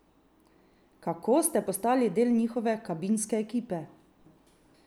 Kako ste postali del njihove kabinske ekipe?